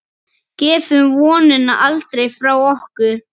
Gefum vonina aldrei frá okkur.